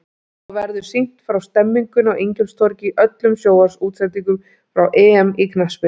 Þá verður sýnt frá stemningunni á Ingólfstorgi í öllum sjónvarpsútsendingum frá EM í knattspyrnu.